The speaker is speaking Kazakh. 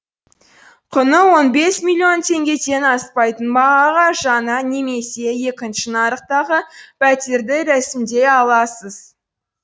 құны он бес миллион теңгеден аспайтын бағаға жаңа немесе екінші нарықтағы пәтерді рәсімдей аласыз